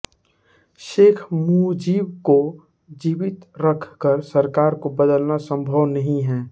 शेख मुजीब को जीवित रखकर सरकार को बदलना संभव नहीं है